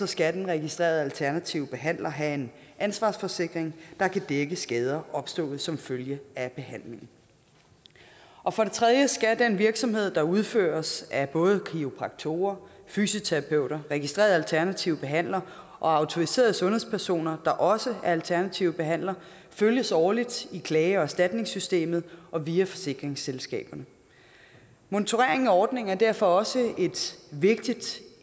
skal den registrerede alternative behandler have en ansvarsforsikring der kan dække skader opstået som følge af behandlingen og for det tredje skal den virksomhed der udføres af både kiropraktorer fysioterapeuter registrerede alternative behandlere og autoriserede sundhedspersoner der også er alternative behandlere følges årligt i klage og erstatningssystemet og via forsikringsselskaberne monitorering af ordningen er derfor også